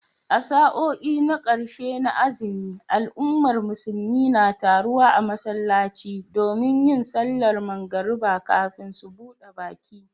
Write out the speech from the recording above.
A sa'o'i na karshe na azumi, al'ummar musulmi na taruwa a masallaci domin yin sallar magariba kafin su buda baki